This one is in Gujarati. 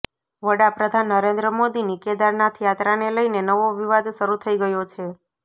વડાપ્રધાન નરેન્દ્ર મોદીની કેદારનાથ યાત્રાને લઇને નવો વિવાદ શરૂ થઇ ગયો છે